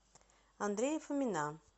андрея фомина